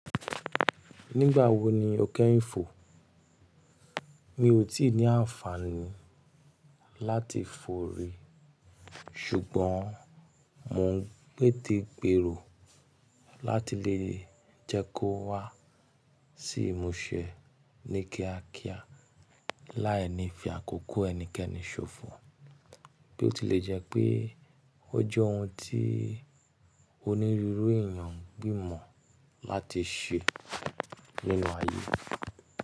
Nígbà wo ni o kẹ́yìn fò? Mi ò tíì ní àǹfààní láti fò rí, ṣùgbọ́n mo ń pè tí gbèrò láti lè jẹ́ kó wá sí ìmúṣẹ ní kíákíá láàní fi àkókò ẹnikẹ́ni ṣòfò bí ó tilẹ̀ jẹ́ pé ó jẹ́ ohun tí onírúurú èèyàn gbìmọ̀ láti ṣe nínú ayé.